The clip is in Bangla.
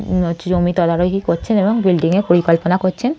উম হচ্ছে জমি তদারকি করছেন এবং বিল্ডিং -এর পরিকল্পনা করছেন--